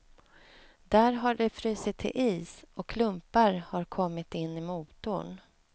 Där har det frusit till is och klumpar har kommit in i motorn.